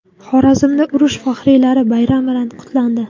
Xorazmda urush faxriylari bayram bilan qutlandi.